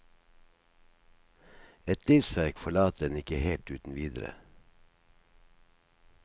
Et livsverk forlater en ikke helt uten videre.